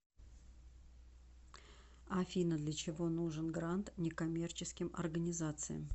афина для чего нужен грант неккоммерческим организациям